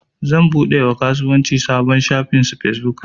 Zan buɗe wa kasuwanci sabon shafin fesbuk.